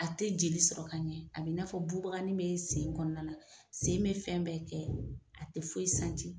A te jeli sɔrɔ ka ɲɛ a b'i n'a fɔ buubaganin bee sen kɔɔna la, sen be fɛn bɛɛ kɛ a tɛ foyi